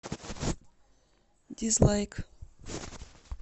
дизлайк